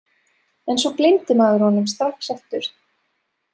En svo gleymdi maður honum strax aftur.